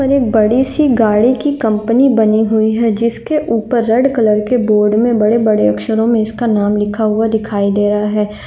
पर एक बड़ी सी गाड़ी की कंपनी बनी हुई है जिसके ऊपर रेड कलर के बोर्ड में बड़े-बड़े अक्षरों में इसका नाम लिखा हुआ दिखाई दे रहा है।